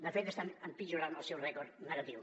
de fet estan empitjorant el seu rècord negatiu